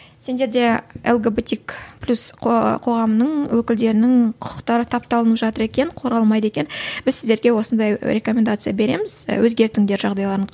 сендерде лгбтик плюс қоғамының өкілдерінің құқықтары тапталынып жатыр екен қорғалмайды екен біз сіздерге осындай рекомендация береміз і өзгертіңдер жағдайларың